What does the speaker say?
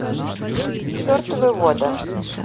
чертовы воды